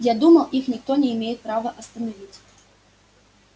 я думал их никто не имеет права остановить